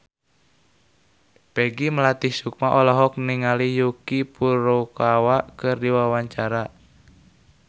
Peggy Melati Sukma olohok ningali Yuki Furukawa keur diwawancara